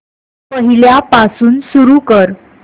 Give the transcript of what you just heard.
पहिल्यापासून सुरू कर